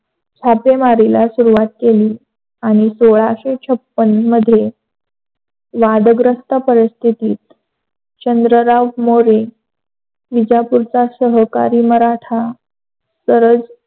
छापेमारीला सुरवात केली सोलाशे छाप्पन मध्ये वादग्रस्त परिस्थिती चंद्रराव मोरे, विजापूरचा सहकारी, मराठा सरळ